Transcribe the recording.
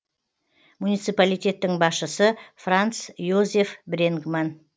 муниципалитеттің басшысы франц йозеф бренгман